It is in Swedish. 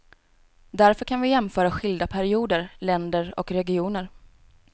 Därför kan vi jämföra skilda perioder, länder och regioner.